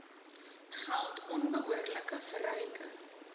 geld onbehoorlike verryking